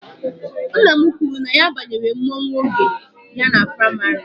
Nna m kwuru na ya banyere mmọnwụ oge ya nọ praịmarị.